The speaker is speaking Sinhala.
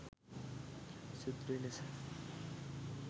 ශුද්‍ර ලෙස